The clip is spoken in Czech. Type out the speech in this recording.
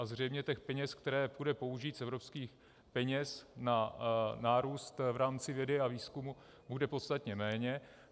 A zřejmě těch peněz, které půjde použít z evropských peněz na nárůst v rámci vědy a výzkumu bude podstatně méně.